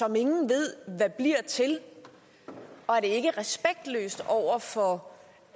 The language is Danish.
ingen ved hvad bliver til og er det ikke respektløst over for